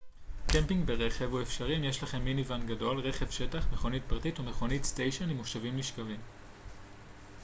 קמפינג ברכב הוא אפשרי אם יש לכם מיני-ואן גדול רכב שטח מכונית פרטית או מכונית סטיישן עם מושבים נשכבים